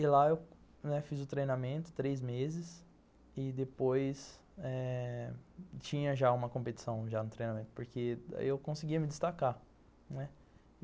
E lá eu fiz o treinamento, três meses, e depois eh tinha já uma competição já no treinamento, porque eu conseguia me destacar, né.